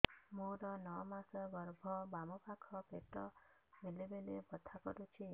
ମୋର ନଅ ମାସ ଗର୍ଭ ବାମ ପାଖ ପେଟ ବେଳେ ବେଳେ ବଥା କରୁଛି